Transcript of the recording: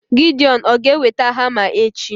Gideon ọ̀ ga-eweta hama echi?